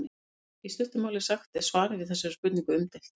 í stuttu máli sagt er svarið við þessari spurningu umdeilt